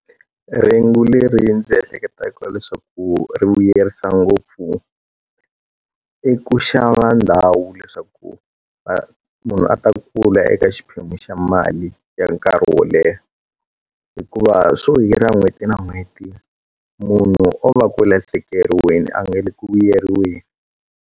Rhengu leri ndzi ehleketaka leswaku ri vuyerisa ngopfu i ku xava ndhawu leswaku munhu a ta kula i eka xiphemu xa mali ya nkarhi wo leha hikuva swo hirha n'hweti na n'hweti munhu o va ku lahlekeriweni a nga le ku vuyeriweni.